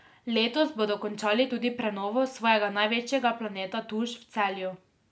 Letos bodo končali tudi prenovo svojega največjega Planeta Tuš v Celju.